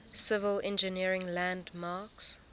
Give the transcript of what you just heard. civil engineering landmarks